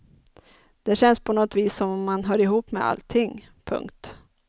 Det känns på något vis som om man hör ihop med allting. punkt